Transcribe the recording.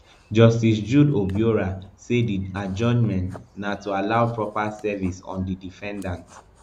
justice jude obiorah say di adjournment na to allow proper service on di defendants